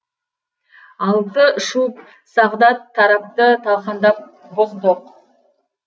алты шуб сағдат тарапты талқандап бұздық